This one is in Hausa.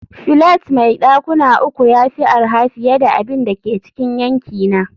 flat mai dakuna uku ya fi arha fiye da abin da ke cikin yankina